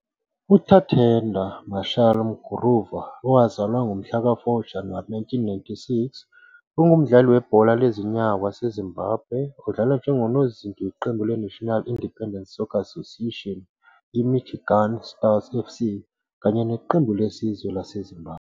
UTatenda Marshal Mkuruva, owazalwa ngomhlaka 4 Januwari 1996, ungumdlali webhola lezinyawo waseZimbabwe odlala njengonozinti weqembu leNational Independent Soccer Association iMichigan Stars FC kanye neqembu lesizwe laseZimbabwe.